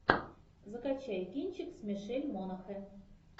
закачай кинчик с мишель монаган